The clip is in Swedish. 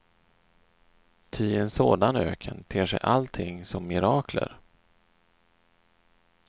Ty i en sådan öken ter sig allting som mirakler.